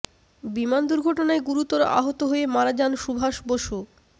বিমান দুর্ঘটনায় গুরুতর আহত হয়ে মারা যান সুভাস বসু